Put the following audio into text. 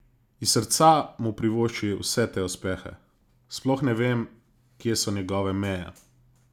Iz srca mu privošči vse te uspehe: "Sploh ne vem, kje so njegove meje.